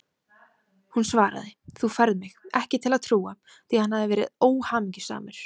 Hún svaraði: Þú færð mig ekki til að trúa því að hann hafi verið óhamingjusamur.